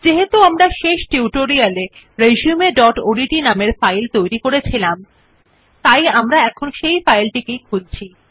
যেহেতু আমরা শেষ টিউটোরিয়াল এ resumeওডিটি নামের ফাইল তৈরী করেছিলাম তাই আমরা সেই ফাইলটিই খুলছি